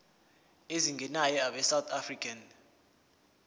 ezingenayo abesouth african